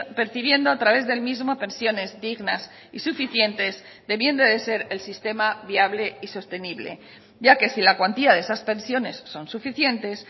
percibiendo a través del mismo pensiones dignas y suficientes debiendo de ser el sistema viable y sostenible ya que si la cuantía de esas pensiones son suficientes